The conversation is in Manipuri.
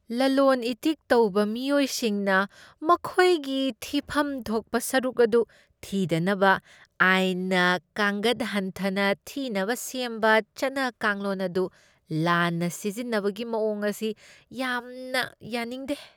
ꯂꯂꯣꯟ ꯏꯇꯤꯛ ꯇꯧꯕ ꯃꯤꯑꯣꯏꯁꯤꯡꯅ ꯃꯈꯣꯏꯒꯤ ꯊꯤꯐꯝ ꯊꯣꯛꯄ ꯁꯔꯨꯛ ꯑꯗꯨ ꯊꯤꯗꯅꯕ ꯑꯥꯏꯟꯅ ꯀꯥꯡꯒꯠ ꯍꯟꯊꯅ ꯊꯤꯅꯕ ꯁꯦꯝꯕ ꯆꯠꯅ ꯀꯥꯡꯂꯣꯟ ꯑꯗꯨ ꯂꯥꯟꯅ ꯁꯤꯖꯤꯟꯅꯕꯒꯤ ꯃꯑꯣꯡ ꯑꯁꯤ ꯌꯥꯝꯅ ꯌꯥꯅꯤꯡꯗꯦ꯫